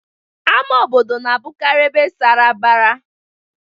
Ama obodo na-abụkarị ebe sara mbara.